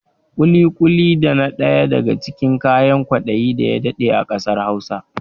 Ƙuli-ƙuli dana daya daga cikin kayan kwaɗayi daya daɗe a ƙasar Hausa